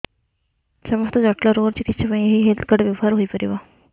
ସମସ୍ତ ଜଟିଳ ରୋଗର ଚିକିତ୍ସା ପାଇଁ ଏହି ହେଲ୍ଥ କାର୍ଡ ବ୍ୟବହାର ହୋଇପାରିବ